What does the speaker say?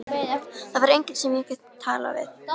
Það var enginn sem ég gat talað við.